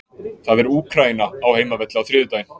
Það er Úkraína á heimavelli á þriðjudaginn.